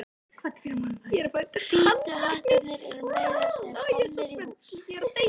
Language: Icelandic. Hvítu hattarnir eru meira að segja komnir í hús.